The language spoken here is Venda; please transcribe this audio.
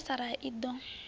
ya sa raha i ḓo